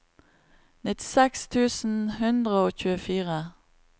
nittiseks tusen seks hundre og tjuefire